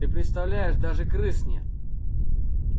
ты представляешь даже крыс нет